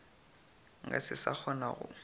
nka se sa kgona go